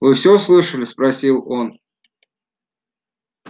вы все слышали спросил он